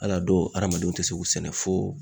Hali a dɔw hadamadenw te se k'u sɛnɛ fo